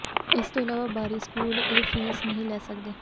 ਇਸ ਤੋਂ ਇਲਾਵਾ ਬਾਰੀ ਸਕੂਲ ਇਹ ਫੀਸ ਨਹੀਂ ਲੈ ਸਕਦੇ